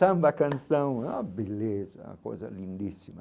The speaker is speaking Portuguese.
Samba canção, é uma beleza, é uma coisa lindíssima.